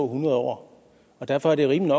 hundrede år og derfor er det rimeligt